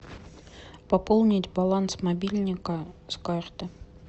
пополнить баланс мобильника с карты